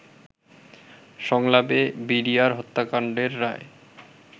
সংলাপে বিডিআর হত্যাকান্ডের রায়